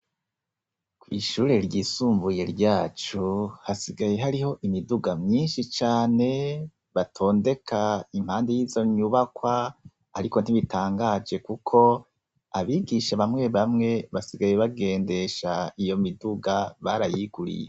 Ku ishuri ryisumbuye ryacu hasigaye hariho imiduga mwishi cane batondeka impande yizo nyubakwa ariko ntibitangaje kuko abigisha bamwe bamwe basigaye bagendesha iyo miduga barayiguriye.